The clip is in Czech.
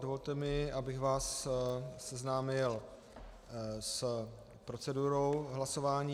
Dovolte mi, abych vás seznámil s procedurou hlasování.